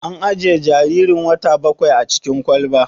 An ajiye jaririn wata bakwain a cikin kwalba?